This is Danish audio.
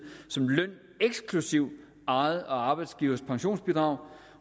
som løn eksklusive eget og arbejdsgivers pensionsbidrag